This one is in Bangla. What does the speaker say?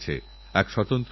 খেলাতেআমাদের প্রাণ তোমরা